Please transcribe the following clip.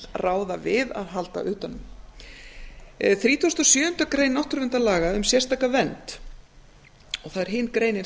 ráða við að halda utan um þrítugasta og sjöundu grein náttúruverndarlaga um sérstaka vernd og það er hin greinin